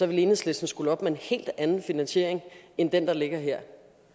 ville enhedslisten skulle op med en helt anden finansiering end den der ligger her